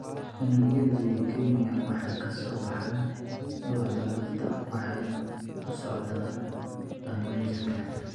Unugyada leukemia waxay ka soo baxaan dhuuxa lafta waxayna u socdaalaan dhammaan jirka.